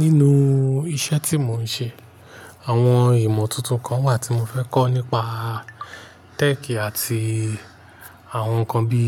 Nínú iṣẹ́ tí mò ń ṣe, àwọn ìmọ̀ tuntun kan wà tí mo fẹ́ kọ́ nípa tech àti àwọn nǹkan bí